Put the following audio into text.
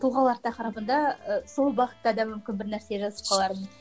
тұлғалар тақырыбында ы сол бағытта да мүмкін бірнәрсе жазып қалармын